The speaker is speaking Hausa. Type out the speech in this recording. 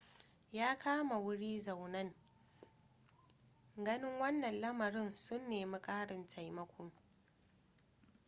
'yan kama-wuri-zaunan ganin wanna lamarin sun nemi karin taimako